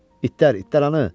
İtlər, itləranı!